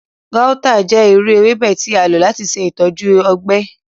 Gauta jẹ iru ewebe ti a lo lati ṣe itọju ọgbẹ.